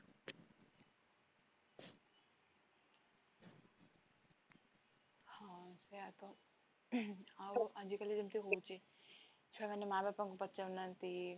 ହଁ ସେଇୟା ତ, ଆଉ ଆଜି କାଲି ଯେମିତ ହଉଛି ଛୁଆମାନେ ମାଁ ବାପାଙ୍କୁ ପଛରୁ ନାହାନ୍ତି